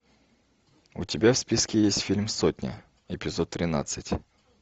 у тебя в списке есть фильм сотня эпизод тринадцать